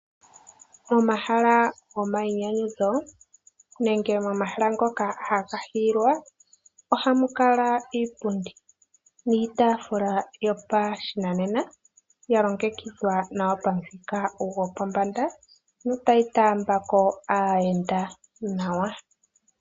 Pomahala gomayinyanyudho nenge momahala ngoka haga hiilwa ohamu kala iipundi niitafula yopashinanena ya longekidhwa nawa pamuthika gopombanda notayi taamba ko aayenda nawa.